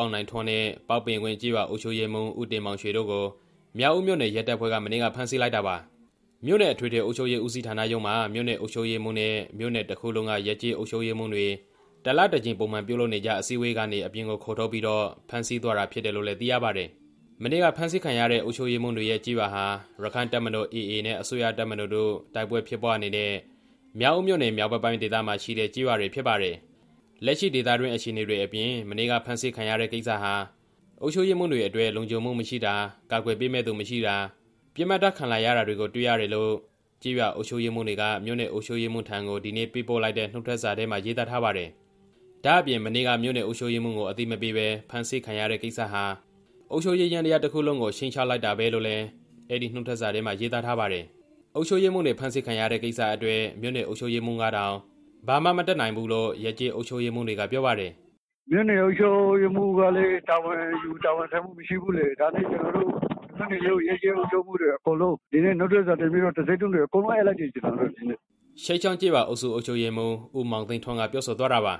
အောင်နိုင်ထွန်းနဲ့ ပေါက်ပင်ကွင်းကျေးရွာအုပ်ချုပ်ရေးမှူး ဦးတင်မောင်ရွှေတို့ကို မြောက်ဦးမြို့နယ်ရဲတပ်ဖွဲ့က မနေ့က ဖမ်းဆီးလိုက်တာပါ။ မနေ့က ဖမ်းဆီးခံရတဲ့ အုပ်ချုပ်ရေးမှူးတွေရဲ့ ကျေးရွာဟာ ရက္ခိုင့်တပ်မတော်(AA)နဲ့ အစိုးရတပ်မတော်တို့ တိုက်ပွဲဖြစ်ပွားနေတဲ့ မြောက်ဦးမြို့နယ် မြောက်ဘက်ပိုင်းဒေသမှာရှိတဲ့ ကျေးရွာတွေဖြစ်ပါတယ်။ လက်ရှိဒေသတွင်းအခြေအနေတွေအပြင် မနေ့ကဖမ်းဆီးခံရတဲ့ကိစ္စဟာ အုပ်ချုပ်ရေးမှူးတွေအတွက် လုံခြုံမှုမရှိတာ၊ ကာကွယ်ပေးမယ့်သူမရှိတာ၊ ပစ်မှတ်ထားခံလာရတာတွေကို တွေ့ရတယ်လို့ ကျေးရွာအုပ်ချုပ်ရေးမှူးတွေက မြို့နယ်အုပ်ချုပ်ရေးမှူးထံကို ဒီနေ့ ပေးပို့လိုက်တဲ့ နုတ်ထွက်စာထဲမှာ ရေးသားထားပါတယ်။ ဒါ့အပြင် မနေ့က မြို့နယ်အုပ်ချုပ်ရေးမှူးကို အသိမပေးဘဲ ဖမ်းဆီးခံရတဲ့ကိစ္စဟာ အုပ်ချုပ်ရေးယန္တရားတစ်ခုလုံးကို ခြိမ်းခြောက်လိုက်တာပဲလို့လည်း အဲဒီနုတ်ထွက်စာထဲမှာ ရေးသားထားပါတယ်။ အုပ်ချုပ်ရေးမှူးတွေ ဖမ်းဆီးခံရတဲ့ကိစ္စအတွက် မြို့နယ်အုပ်ချုပ်ရေးမှူးကတောင် ဘာမှမတတ်နိုင်ဘူးလို့ ရပ်ကျေးအုပ်ချုပ်ရေးမှူးတွေက ပြောပါတယ်။ "မြို့နယ်အုပ်ချုပ်ရေးမှူးကလည်း တာဝန်ယူတာဝန်ခံမှုမရှိဘူးလေ။ အဲဒါကြောင့် ရပ်ကျေးအုပ်ချုပ်ရေးမှူးတွေ အကုန်လုံး ဒီနေ့နှုတ်ထွက်စာတင်ပြီးတော့ တံဆိပ်တုံးတွေပါ အကုန်လုံးအပ်လိုက်ကြပါတယ်" ခြိပ်ချောင်းကျေးရွာအုပ်စု အုပ်ချုပ်ရေးမှူး ဦးမောင်သိန်းထွန်း ပြောဆိုသွားတာပါ